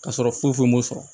Ka sɔrɔ foyi foyi m'o sɔrɔ